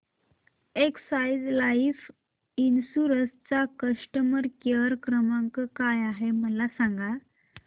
Exide Life Insurance चा customer care क्रमांक काय आहे मला सांगा